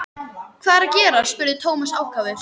Hvað er að gerast? spurði Thomas ákafur.